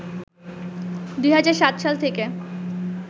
২০০৭ সাল থেকে